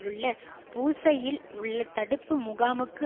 உள்ள பூஸ்ஸையில் உள்ள தடுப்பு முகாமுக்கு